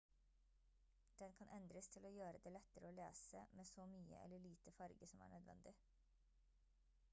den kan endres til å gjøre det lettere å lese med så mye eller lite farge som er nødvendig